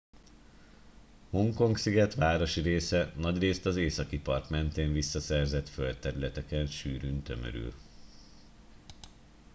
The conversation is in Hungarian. hongkong sziget városi része nagyrészt az északi part mentén visszaszerzett földterületeken sűrűn tömörül